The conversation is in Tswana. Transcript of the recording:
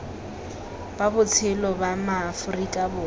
ba botshelo ba maaforika borwa